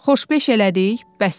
Xoşbeş elədik, bəsdir.